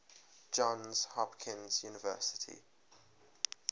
johns hopkins university